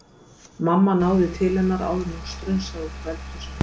Mamma náði til hennar áður en hún strunsaði út úr eldhúsinu